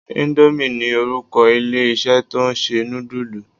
Indomie ni orúkọ ilé-isé tó ń ṣe nudulu.